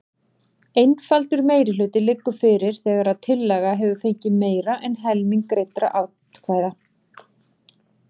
Einfaldur meirihluti liggur fyrir þegar tillaga hefur fengið meira en helming greiddra atkvæða.